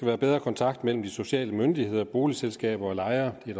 være bedre kontakt mellem de sociale myndigheder boligselskaber og lejere det